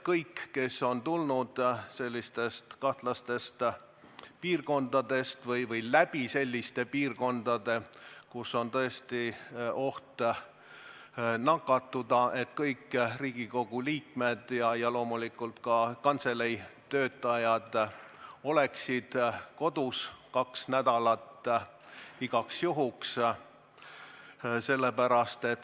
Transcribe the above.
Kõik, kes on tulnud kahtlastest piirkondadest või läbi selliste piirkondade, kus on oht nakatuda – kõik Riigikogu liikmed ja loomulikult ka kantselei töötajad –, võiksid olla kaks nädalat igaks juhuks kodus.